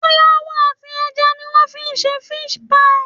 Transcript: Fúláwà àti ẹja ni wọ́n fi ń ṣe fish pie